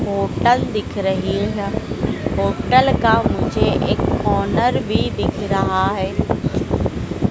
Hotel दिख रही है। होटल का मुझे एक ऑनर भी दिख रहा है।